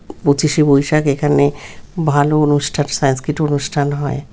পঁচিশ এ বৈশাখ এখানে ভালো অনুষ্ঠান সংস্কৃত অনুষ্ঠান হয়।